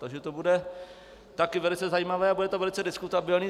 Takže to bude taky velice zajímavé a bude to velice diskutabilní.